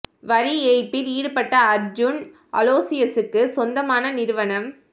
வரி ஏய்ப்பில் ஈடுபட்ட அர்ஜுன் அலோசியஸுக்கு சொந்தமான நிறுவனம்